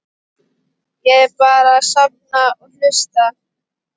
Ég er bara að safna og hlusta.